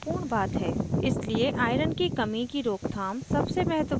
इसलिए iron की कमी की रोकथाम सबसे महत्वपूर्ण है